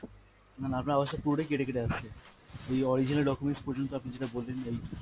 না না আপনার আওয়াজটা পুরোটাই কেটে কেটে আসছে, এই original documents পর্যন্ত আপনি যেটা বললেন এই।